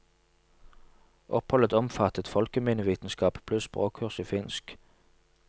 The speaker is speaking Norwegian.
Oppholdet omfattet folkeminnevitenskap pluss språkkurs i finsk.